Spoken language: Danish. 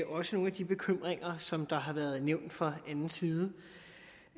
også nogle af de bekymringer som har været nævnt fra anden side